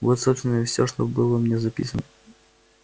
вот собственно и всё что было у меня записан